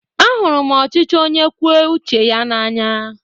Ahụrụ m ọchịchị onye kwue uche ya n'anya.